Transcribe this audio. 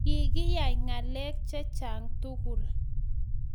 Kikiyae ngalek chechang tugulu